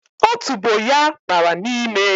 Otubo ya bara n'ime